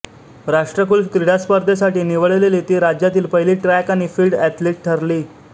राष्ट्रकुल क्रीडा स्पर्धेसाठी निवडलेली ती राज्यातील पहिली ट्रॅक आणि फील्ड ऍथलीट ठरली